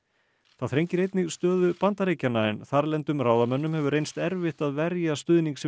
það þrengir einnig stöðu Bandaríkjanna en þarlendum ráðamönnum hefur reynst erfitt að verja stuðning sinn